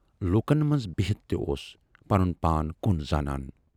لوٗکن منز بِہتھ تہِ اوس پنُن پان کُن زانان۔